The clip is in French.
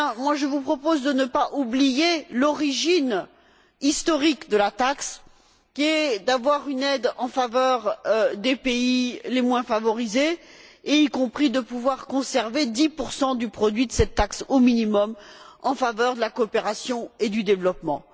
Je vous propose de ne pas oublier la justification historique de la taxe, qui était d'avoir une aide en faveur des pays les moins favorisés, y compris de pouvoir conserver 10 du produit de cette taxe, au minimum, en faveur de la coopération et du développement.